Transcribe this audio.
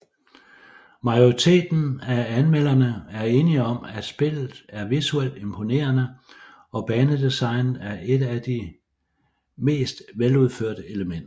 Majoriteten af anmelderne er enige om at spillet er visuelt imponerende og banedesignet er et af de mest veludførte elementer